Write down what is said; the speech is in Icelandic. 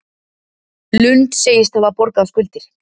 Lund segist hafa borgað skuldir